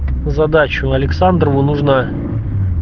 задачу александрову нужно